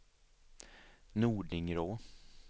Nordingrå